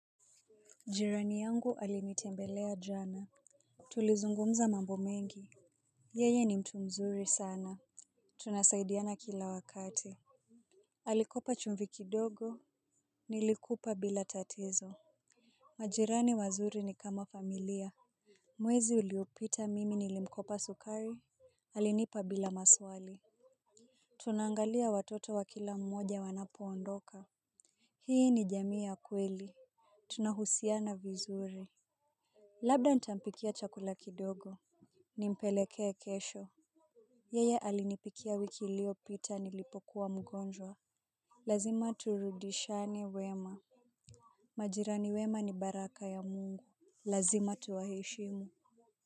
Jirani yangu alinitembelea jana. Tulizungumza mambo mengi. Yeye ni mtu mzuri sana. Tunasaidiana kila wakati. Alikopa chumbi kidogo nilikupa bila tatizo. Majirani wazuri ni kama familia. Mwezi uliopita mimi nilimkopa sukari alinipa bila maswali. Tunaangalia watoto wa kila mmoja wanapoondoka. Hii ni jamii ya kweli. Tunahusiana vizuri. Labda nitampikia chakula kidogo nimpelekee kesho. Yeye alinipikia wiki iliyopita nilipokuwa mgonjwa. Lazima turudishiane wema. Majirani wema ni baraka ya mungu. Lazima tuwaheshimu.